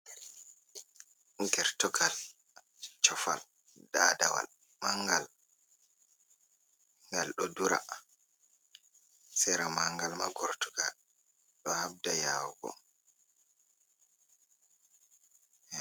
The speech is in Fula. Gertogal, cofal, dadawal, mangal. Ngal ɗo dura. Sera manngal ma gortugal ɗo habda yawugo.